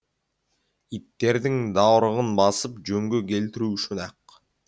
иттердің дауырығын басып жөнге келтіру үшін ақ